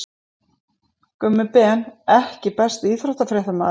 Gummi Ben EKKI besti íþróttafréttamaðurinn?